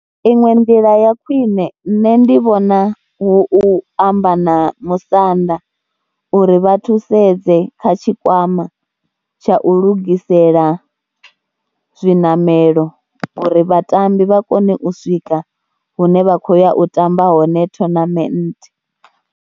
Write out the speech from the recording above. Iṅwe nḓila ya khwine nṋe ndi vhona hu u amba na musanda uri vha thusedze kha tshikwama tsha u lugisela zwiṋamelo uri vhatambi vha kone u swika hune vha khou ya u tamba hone tournament.